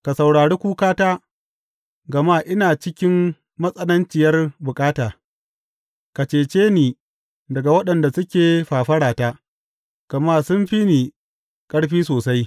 Ka saurari kukata, gama ina cikin matsananciyar bukata; ka cece ni daga waɗanda suke fafarata, gama sun fi ni ƙarfi sosai.